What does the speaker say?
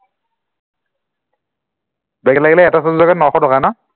back লাগিলে এটা subject ত নশ টকা ন